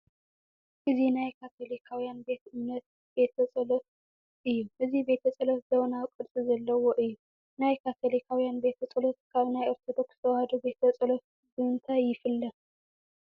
እዚ ናይ ካቶሊካውያን ቤተ እምነት ቤተ ፀሎት እዩ፡፡ እዚ ቤተ ፀሎት ዘመናዊ ቅርፂ ዘለዎ እዩ፡፡ ናይ ካቶሊካውያን ቤተ ፀሎት ካብ ናይ ኦርቶዶክስ ተዋህዶ ቤተ ፀሎት ብምንታይ ይፍለ?